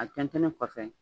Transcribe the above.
A tɛntɛnnen kɔfɛ